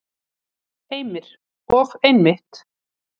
Heimir: Og einmitt.